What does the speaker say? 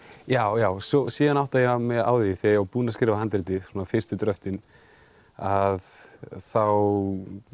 já já síðan átta ég mig á því þegar ég búinn að skrifa handritið svona fyrstu dröftin að þá